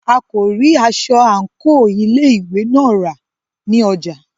A kò rí aṣọ àńkò ilé ìwé náà rà ní ọjà.